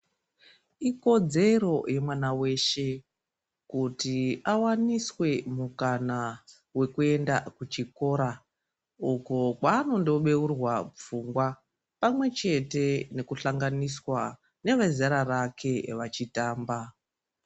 Ikodzero yemwana weshe kuti awaniswe mukana wekuenda kuchikora uku kwaanondobeurwa pfungwa pamwe chete nekuhlanganiswa nevezera rake vechitamba.